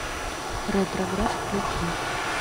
ретроград включи